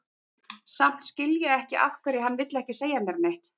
Samt skil ég ekki af hverju hann vill ekki segja mér neitt.